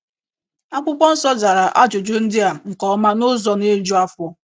Akwụkwọ nsọ zara ajụjụ ndị a nke ọma n’ụzọ na - eju afọ.